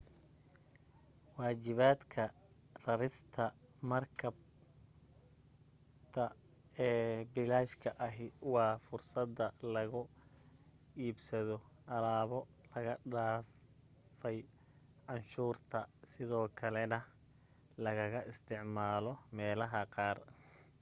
waajibadka rarista marakibta ee bilashka ahi waa fursada lagu iibsado alaabo laga dhaafay canshuurta sidoo kalena lagaga isticmaalo meelaha qaar